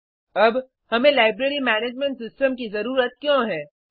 अब हमें library management system की ज़रुरत क्यों है160